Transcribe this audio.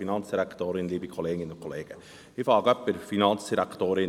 Ich beginne bei der Finanzdirektorin.